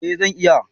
Eh zan iya